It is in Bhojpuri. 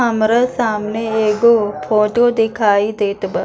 हमरे सामने एगो फोटो देखाई देत बा।